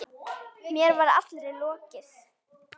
Mér var allri lokið.